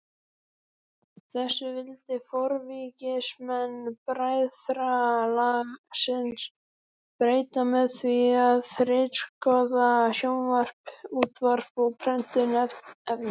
Þessu vildi forvígismenn bræðralagsins breyta með því að ritskoða sjónvarp, útvarp og prentuð efni.